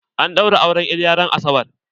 An ɗaura auren iliya ran asabar.